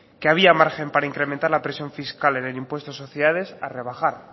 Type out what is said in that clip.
que había margen para incrementar la presión fiscal en el impuesto de sociedades a rebajar